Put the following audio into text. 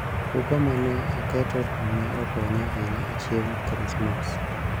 kungo mane aketo ne okonya ahinya chieng' krismas